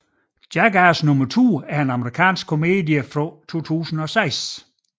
Jackass Number Two er en amerikansk komedie fra 2006